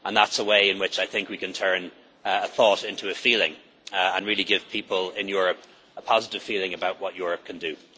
That is a way in which I think we can turn a thought into a feeling and really give people in Europe a positive feeling about what Europe can